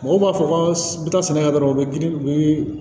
Mɔgɔw b'a fɔ ko bɛ taa sɛnɛkɛ dɔrɔnw u bɛ girin girin